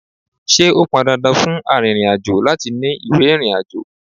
Ṣé ó pọn dandan fún arìnrìn-àjò láti ní ìwé ìrìnàjò?